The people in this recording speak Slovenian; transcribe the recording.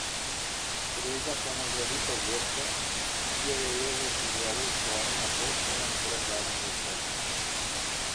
Gre za ponazoritev geste, ki jo je Jezus izvedel svojim apostolom pred zadnjo večerjo.